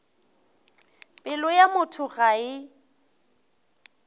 pelo ya motho ga e